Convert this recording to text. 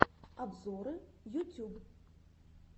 обзоры ютюб